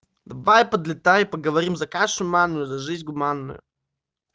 давай подлетай поговорим за кашу манную за жизнь гуманную